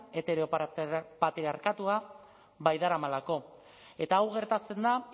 heteropatriarkatua baidaramalako eta hau gertatzen da